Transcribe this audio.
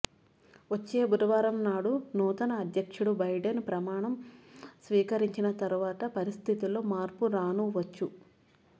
వచ్చే బుధవారం నాడు నూతన అధ్యక్షుడు బైడెన్ ప్రమాణం స్వీకరించిన తరవాత పరిస్థితిలో మార్పు రానూ వచ్చు